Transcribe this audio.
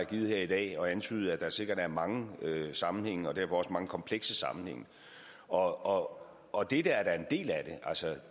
givet her i dag at antyde at der sikkert er mange sammenhænge og derfor også mange komplekse sammenhænge og og dette er da en del af det